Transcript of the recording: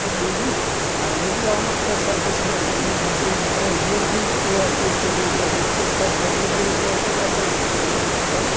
vezes às vezes, passava um numerzinho para a gente e a gente assim se encarregava,